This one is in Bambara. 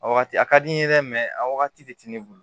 A wagati a ka di n ye dɛ a wagati de tɛ ne bolo